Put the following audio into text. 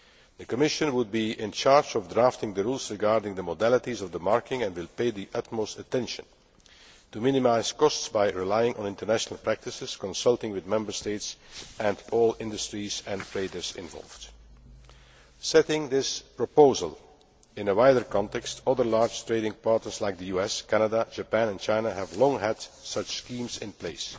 The Commission would be in charge of drafting the rules regarding the modalities of the marking, and will pay the utmost attention to minimising costs by relying on international practices, consulting with Member States and all the industries and traders involved. Setting this proposal in a wider context, other large trading partners like the US, Canada, Japan and China have long had such schemes in place.